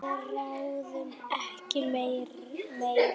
Sigrún og Bjarni.